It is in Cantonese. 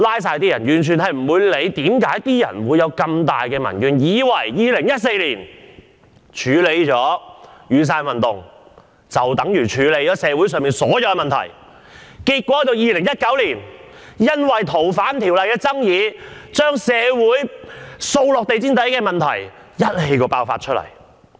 政府完全不理會為甚麼社會上有這樣重大的民怨，以為處理了2014年的雨傘運動，便等於解決了社會上所有問題 ，2019 年因為修訂《逃犯條例》引起的爭議，便是將掃到地毯下的社會問題一次過暴露出來。